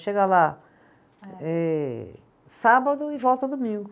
Chega lá eh, sábado e volta domingo.